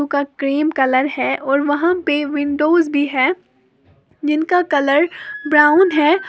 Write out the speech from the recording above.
का cream colour है और वहां पे विंडोज भी है जिनका कलर ब्राउन है।